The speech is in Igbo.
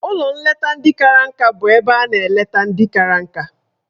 Ụlọ nleta ndị kara nka bụ ebe a na-eleta ndị kara nka.